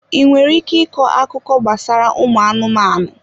Ị nwere ike ịkọ akụkọ gbasara ụmụ anụmanụ?